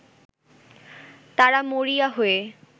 তারা মরিয়া হয়ে